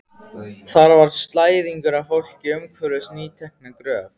Þar var slæðingur af fólki umhverfis nýtekna gröf.